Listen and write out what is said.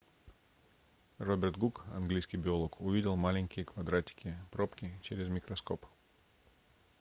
роберт гук английский биолог увидел маленькие квадратики пробки через микроскоп